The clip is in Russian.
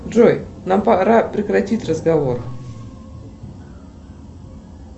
джой нам пора прекратить разговор